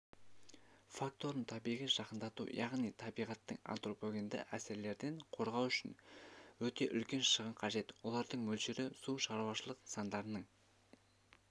факторын табиғи жақындату яғни табиғатты антропогенді әсерлерден қорғау үшін өте үлкен шығын қажет олардың мөлшері су шаруашылық нысандарының